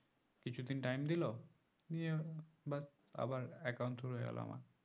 কিছুদিন time দিলো নিয়ে but আবার account শুরু হয়ে গেলো আমার